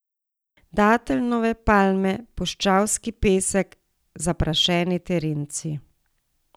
Dateljnove palme, puščavski pesek, zaprašeni terenci.